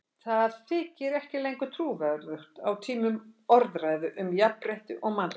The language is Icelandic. Það þykir ekki lengur trúverðugt á tímum orðræðu um jafnrétti og mannréttindi.